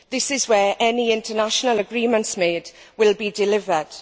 This is where any international agreements made will be delivered.